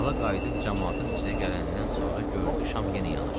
Dala qayıdıb camaatın içinə gələndən sonra gördü şam yenə yanır.